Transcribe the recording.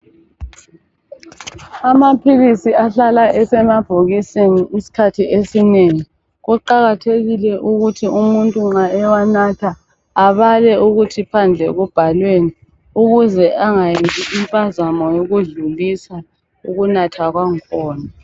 Amaphilisi ahlala esemabholokisini isikhathi esinengi. Kuqakathekile ukuthi umuntu nxa ewanatha, abale ukuthi phandle kubhalweni ukuze angayenzi impazamo yokudlulisa ukunatha kwangakhona.